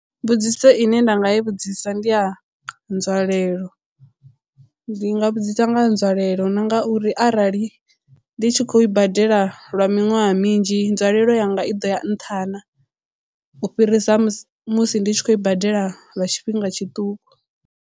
Mbudziso ine nda nga i vhudzisa ndi ya nzwalelo ndi nga vhudzisa nga nzwalelo na nga uri arali ndi tshi khou i badela lwa miṅwaha minzhi nzwalelo yanga i ḓo ya nṱha na u fhirisa musi musi ndi tshi khou i badela lwa tshifhinga tshiṱuku.